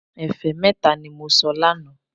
Ẹ̀fẹ́ mẹ́ta ní mo sọ lánàá